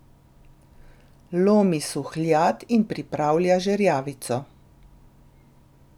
Lomi suhljad in pripravlja žerjavico.